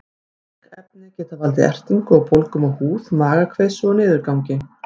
Slík efni geta valdið ertingu og bólgum á húð, magakveisu og niðurgangi.